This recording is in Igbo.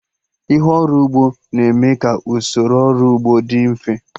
Ihe ọrụ ugbo na-eme ka usoro ọrụ ugbo dị mfe